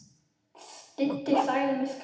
Didda sagði mig skræfu.